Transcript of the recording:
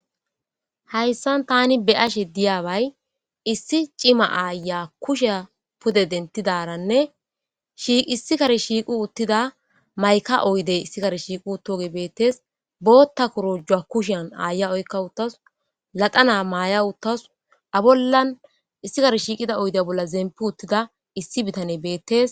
hayssan tani be7ashe diyaway issi cima aaya kushe pude dentidaranne shissi kari shiiqu uttida mayka oyde issikare shiiqu toge bettes bootta korojjua kushen aaya oykka uttas laqana maaya uttasu a bollan issi kar shiiqida oyde bolla zempi uttida issi bitane beettes